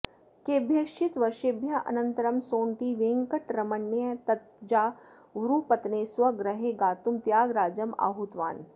केभ्यश्चित् वर्षेभ्यः अनन्तरं सोण्टि वेङ्कटरमणय्यः तञ्जावूरुपत्तने स्वगृहे गातुं त्यागराजम् आहूतवान्